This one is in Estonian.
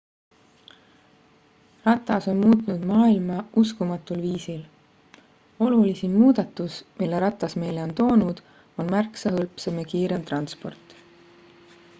ratas on muutnud maailma uskumatul viisil olulisim muudatus mille ratas meile on toonud on märksa hõlpsam ja kiirem transport